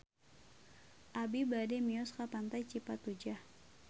Abi bade mios ka Pantai Cipatujah